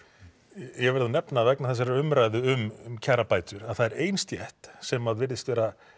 ég verð að nefna vegna þessarar umræðu um kjarabætur að það er ein stétt sem virðist vera